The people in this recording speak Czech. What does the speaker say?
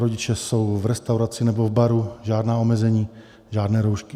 Rodiče jsou v restauraci nebo v baru, žádná omezení, žádné roušky.